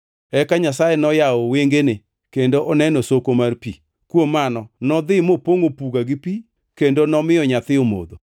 Eka Nyasaye noyawo wengene kendo oneno soko mar pi. Kuom mano nodhi mopongʼo puga gi pi kendo nomiyo nyathi omodho.